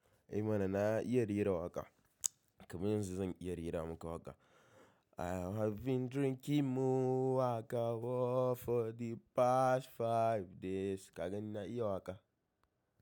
E mana na iya rera waƙa. Kaman yanzu zan iya rera maka waƙa. I have been drinking more waƙa for the past five days. Ka gani na iya waƙa.